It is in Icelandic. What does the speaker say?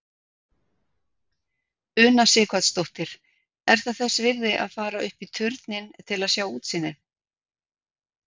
Una Sighvatsdóttir: Er það þess virði að fara upp í turninn til að sjá útsýnið?